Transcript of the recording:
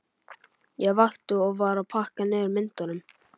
Ég vakti og var að pakka niður myndunum.